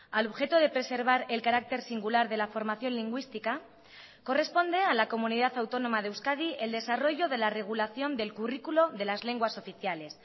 al objeto de preservar el carácter singular de la formación lingüística corresponde a la comunidad autónoma de euskadi el desarrollo de la regulación del currículo de las lenguas oficiales